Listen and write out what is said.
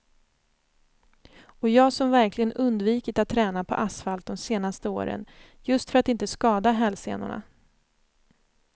Och jag som verkligen undvikit att träna på asfalt de senaste åren, just för att inte skada hälsenorna.